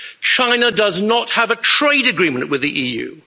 China does not have a trade agreement with the EU.